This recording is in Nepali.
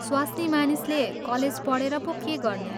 स्वास्नीमानिसले कलेज पढेर पो के गर्ने?